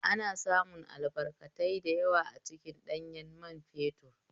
Ana samun albarkatai da yawa a cikin ɗanyan man fetur